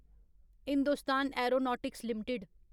Hindustan aeronautics limited